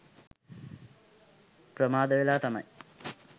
ප්‍රමාද වෙලා තමයි